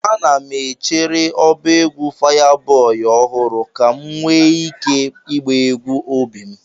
Ana m echere ọba egwu Fayaboi ọhụrụ ka m nwee ike ịgba egwu obi m.